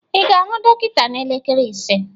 ị ga-ahụ dọkịta n'elekere ise?